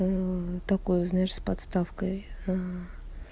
такой узнаешь с подставкой